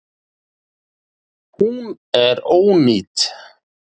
Hún er ónýt